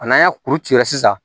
A n'an y'a kuru ci la sisan